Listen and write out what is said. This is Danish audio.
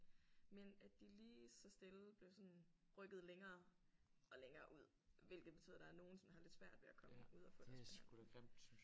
Men at de lige så stille blev sådan rykket længere og længere ud hvilket betyder der er nogle som har lidt svært ved at komme ud og få deres behandling